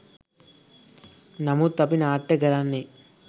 නමුත් අපි නාට්‍ය කරන්නේ